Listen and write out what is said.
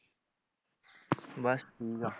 ਬਸ ਠੀਕ ਆ